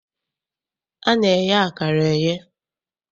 A na-eye akara eye.